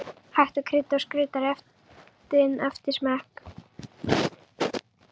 Hægt er að krydda og skreyta réttinn eftir smekk.